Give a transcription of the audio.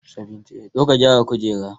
Zo ka gyara kujera